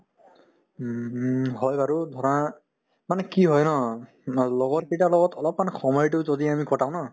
উম, হুম হয় বাৰু ধৰা মানে কি হয় ন নহয় লগৰ কেইটাৰ লগত অলপমান সময়তো যদি আমি কটাও ন